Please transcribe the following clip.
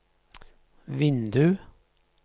vindu